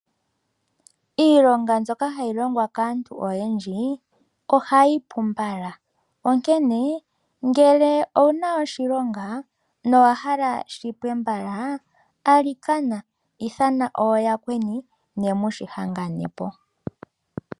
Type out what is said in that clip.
Iilonga mbyoka hayi longwa kaantu oyendji ohayi pu mbala onkene ngele owu na oshilonga nowa hala shipwe mbala alikana ithana ooyakweni ne mu hangane po.